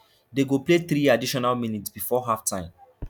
day go play three additional minutes bifor halftime